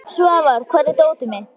Svafar, hvar er dótið mitt?